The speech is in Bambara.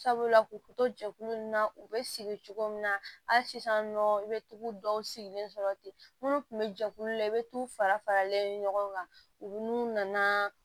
Sabula k'u to jɛkulu na u bɛ sigi cogo min na hali sisan nɔ i bɛ tugu dɔw sigilen sɔrɔ ten minnu tun bɛ jɛkulu la i bɛ t'u fara faralen ɲɔgɔn kan u n'u nana